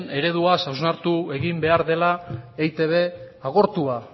ereduaz hausnartu egin behar dela eitb agortua